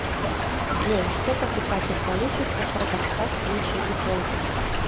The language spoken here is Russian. джой что покупатель получит от продавца в случае дефолта